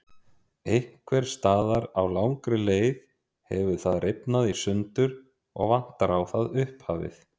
Einhvers staðar á langri leið hefur það rifnað í sundur og vantar á það upphafið.